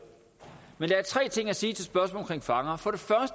men der er tre ting at sige til spørgsmålet om fanger for